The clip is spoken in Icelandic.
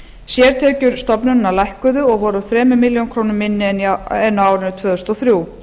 sértekjur stofnunarinnar lækkuðu og voru þrjár milljónir króna minni en á árinu tvö þúsund og þrjú